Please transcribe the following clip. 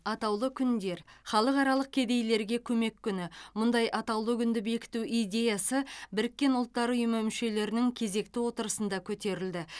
атаулы күндер халықаралық кедейлерге көмек күні мұндай атаулы күнді бекіту идеясы біріккен ұлттар ұйымы мүшелерінің кезекті отырысында көтерілді